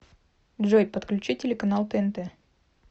джой подключи телеканал тнт